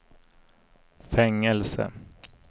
fängelse